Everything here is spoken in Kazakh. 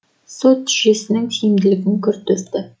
сот жүйесінің тиімділігін күрт өсті